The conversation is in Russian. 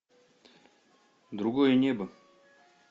другое небо